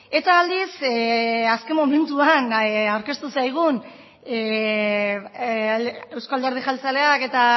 eta aldiz azken momentuan aurkeztu zaigun euzko alderdi jeltzaleak eta